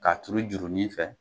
K'a turu juru nin fɛ